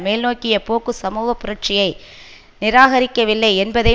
மேல்நோக்கிய போக்கு சமூக புரட்சியை நிராகரிக்கவில்லை என்பதை